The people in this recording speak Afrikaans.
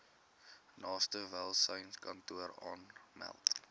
naaste welsynskantoor aanmeld